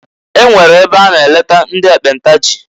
E nwere ebe a na eleta ndị ekpenta jị.